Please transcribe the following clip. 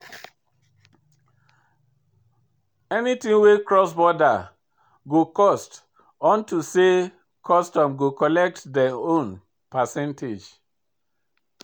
Anything wey cross border go cost unto say custom go collect dem own percentage.